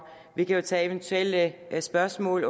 vi kan jo tage eventuelle spørgsmål